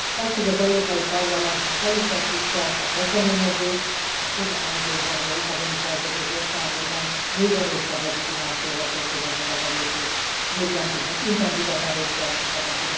Az, hogy az Európai Parlament most elutasítja ezt a kezdeményezést, az pontosan azért van, hogy a Lisszaboni Szerződés értelmében még erősebb legitimációval történjen meg ez a lépés, és még intenzívebben részt vehessünk ebben.